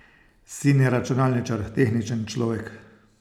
Sin je računalničar, tehničen človek.